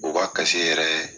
O b'a yɛrɛ